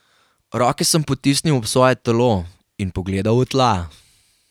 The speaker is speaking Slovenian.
Roke sem potisnil ob svoje telo in pogledal v tla.